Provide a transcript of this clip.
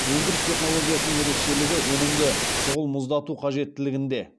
өндіріс технологиясының ерекшелігі өнімді шұғыл мұздату қажеттілігінде